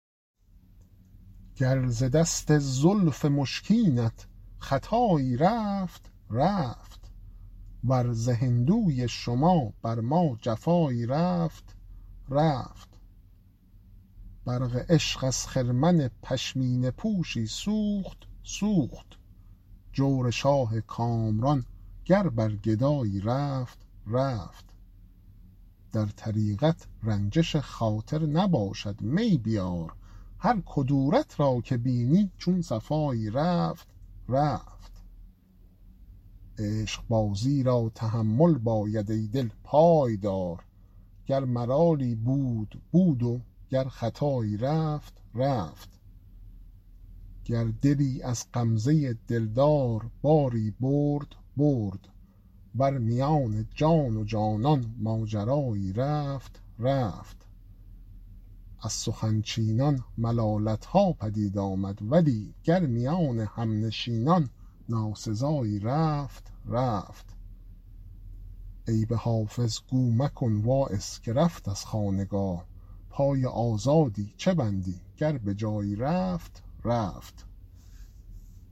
گر ز دست زلف مشکینت خطایی رفت رفت ور ز هندوی شما بر ما جفایی رفت رفت برق عشق ار خرمن پشمینه پوشی سوخت سوخت جور شاه کامران گر بر گدایی رفت رفت در طریقت رنجش خاطر نباشد می بیار هر کدورت را که بینی چون صفایی رفت رفت عشقبازی را تحمل باید ای دل پای دار گر ملالی بود بود و گر خطایی رفت رفت گر دلی از غمزه دلدار باری برد برد ور میان جان و جانان ماجرایی رفت رفت از سخن چینان ملالت ها پدید آمد ولی گر میان همنشینان ناسزایی رفت رفت عیب حافظ گو مکن واعظ که رفت از خانقاه پای آزادی چه بندی گر به جایی رفت رفت